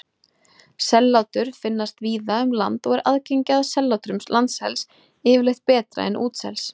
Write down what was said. Sellátur finnast víða um land og er aðgengi að sellátrum landsels yfirleitt betra en útsels.